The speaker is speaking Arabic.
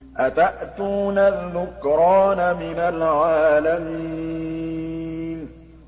أَتَأْتُونَ الذُّكْرَانَ مِنَ الْعَالَمِينَ